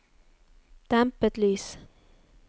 dempet lys